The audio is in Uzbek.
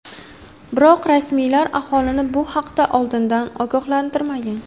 Biroq rasmiylar aholini bu haqda oldindan ogohlantirmagan.